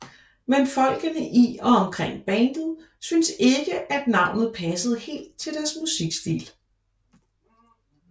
Men folkene i og omkring bandet synes ikke navnet passede helt til deres musikstil